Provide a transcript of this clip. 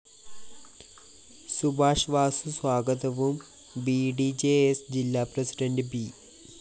സുഭാഷ് വാസു സ്വാഗതവും B D J S ജില്ലാ president B